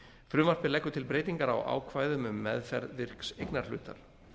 frumvarpið leggur til breytingar á ákvæðum um meðferð virks eignarhlutar